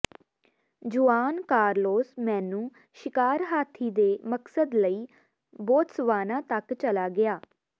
ਜੁਆਨ Carlos ਮੈਨੂੰ ਸ਼ਿਕਾਰ ਹਾਥੀ ਦੇ ਮਕਸਦ ਲਈ ਬੋਤਸਵਾਨਾ ਤੱਕ ਚਲਾ ਗਿਆ